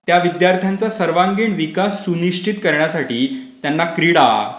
त्या विद्यार्थ्यांचा सर्वांगीण विकास निश्चित करण्यासाठी त्यांना क्रीडा,